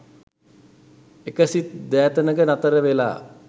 එක සිත් දැතැනක නතර වෙලා